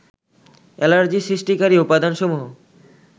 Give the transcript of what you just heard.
allergy সৃষ্টিকারী উপাদানসমূহ